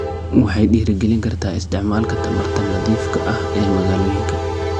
Waxay dhiirigelin kartaa isticmaalka tamarta nadiifka ah ee magaalooyinka.